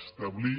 establir